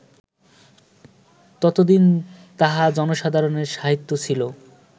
ততদিন তাহা জনসাধারণের সাহিত্য ছিল